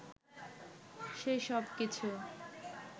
সে সব কিছু